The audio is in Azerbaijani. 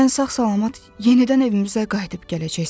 Sən sağ-salamat yenidən evimizə qayıdıb gələcəksən.